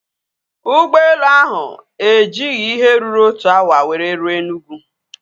Ụgbọelu ahụ ejighị ihe ruru otu awa were ruo Enugwu